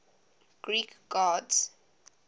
greek gods